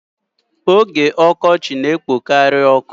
Oge ọkọchị na-ekpokari ọkụ.